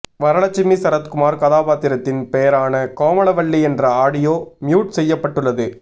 வரலட்சுமி சரத்குமார் கதாபாத்திரத்தின் பெயரான கோமளவல்லி என்ற ஆடியோ மியூட் செய்யப்பட்டுள்ளது